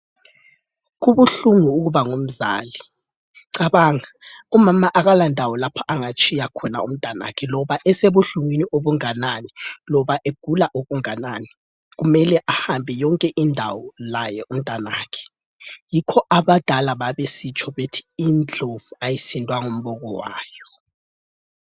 Kubuhlungu ukuba ngumzali, cabanga umama akalandawo lapha angatshiya khona umntwanakhe loba esebuhlungwini obunganani loba egula okunganani kumele ahambe yonkindawo laye umntanakhe yikho abadala babesitsho bethi indlovu ayisindwa ngumboko wayo.